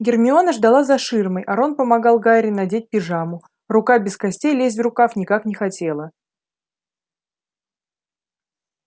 гермиона ждала за ширмой а рон помогал гарри надеть пижаму рука без костей лезть в рукав никак не хотела